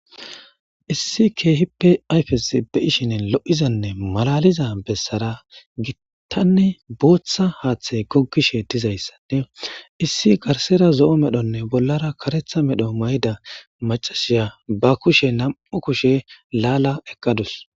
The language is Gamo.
issi keehipe ayfes be7ishin lo7izanne malaliza bessara gittanne booththa haaththay goggi sheettizayssade issi garsera zo7o medhonne bollara karetha medho mayda macashiya ba kushe nam7u kushe laala eqqadus